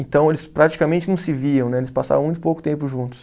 Então eles praticamente não se viam né, eles passavam muito pouco tempo juntos.